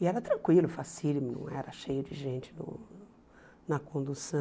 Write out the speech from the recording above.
E era tranquilo, fácílimo, não era cheio de gente uh na condução.